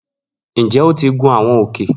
Njẹ o ti gun awọn òkè